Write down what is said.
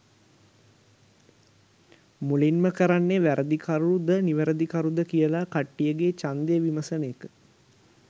මුලින්ම කරන්නේ වැරදිකරුද නිවැරදිකරුද කියලා කට්ටියගේ ඡන්දය විමසන එක.